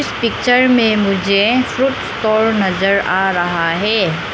Picture में मुझे fruits store नजर आ रहा है।